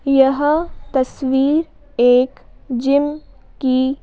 यह तस्वीर एक जिम की--